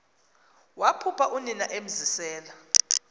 waphupha unina emzisela